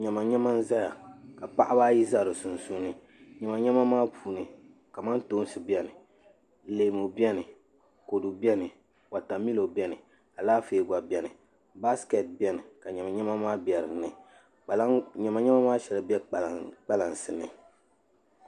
Nyɛma nyɛma n ʒɛya ka paɣaba ayi ʒɛ di puuni nyɛma nyɛma maa puuni kamantoosi biɛni leemu biɛni kodu biɛni wotamilo biɛni Alaafee gba biɛni baaskɛt biɛni ka niɛma maa biɛni nyɛma nyɛma maa shɛli bɛ kpalaŋsi ni